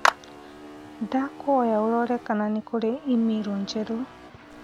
Ndagũkũhoya ũrorere kana kũrĩ i-mīrū njerũ